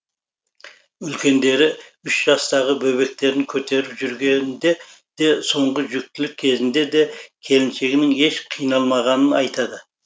үлкендері үш жастағы бөбектерін көтеріп жүргенде де соңғы жүктілік кезінде де келіншегінің еш қиналмағанын айтады